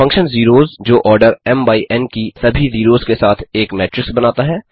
function zeros जो order M M by N N की सभी जीरोस के साथ एक मेट्रिक्स बनाता है